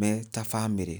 me ta bamĩrĩ.